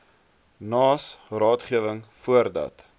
naas raadgewing voordat